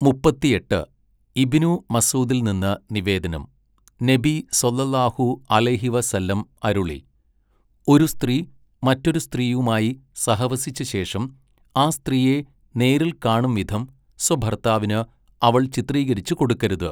മുപ്പത്തിയെട്ട്, ഇബ്നു മസ്ഊദിൽനിന്ന് നിവേദനം, നബി സ്വല്ലല്ലാഹു അലൈഹി വ സല്ലം അരുളി, 'ഒരു സ്ത്രീ മറ്റൊരു സ്ത്രീയുമായി സഹവസിച്ചശേഷം ആ സ്ത്രീയെ നേരിൽ കാണും വിധം സ്വഭർത്താവിന് അവൾ ചിത്രീകരിച്ച് കൊടുക്കരുത്.'